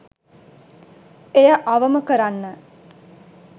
එය අවම කරන්න